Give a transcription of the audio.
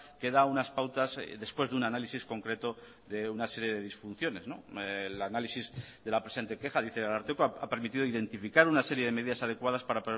que da unas pautas después de un análisis concreto de una serie de disfunciones el análisis de la presente queja dice el ararteko ha permitido identificar una serie de medidas adecuadas para